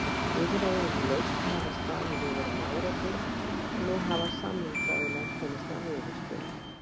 Viðræður um lausn hafa staðið yfir um árabil en nú hafa samningsaðilar komist að niðurstöðu.